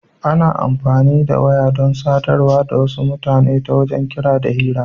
Ana amfani da waya dan sadarwa da wasu mutane ta wajen kira da hira.